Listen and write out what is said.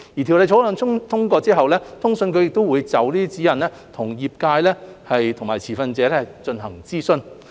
《條例草案》通過後，通訊局會就指引與相關業界和持份者進行諮詢。